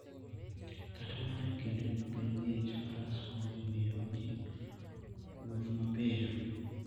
Kata mana e kinde ma piny ng'ich, Faras konyo e miyo ji owuoth mapiyo.